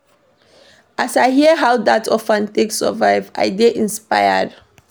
As I hear how dat orphan take survive, I dey inspired.